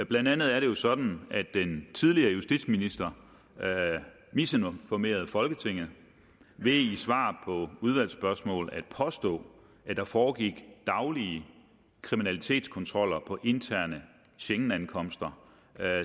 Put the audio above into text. blandt andet er det jo sådan at den tidligere justitsminister misinformerede folketinget ved i svar på udvalgsspørgsmål at påstå at der foregik daglige kriminalitetskontroller på interne schengenankomster